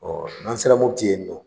Ɔ n'an sera Mopiti yen nɔ